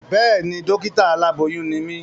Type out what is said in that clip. Béèni, dọ́kítà aláboyún ni mí